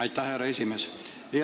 Aitäh, härra esimees!